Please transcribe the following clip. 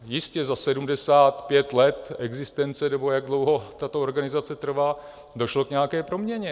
Jistě za 75 let existence, nebo jak dlouho tato organizace trvá, došlo k nějaké proměně.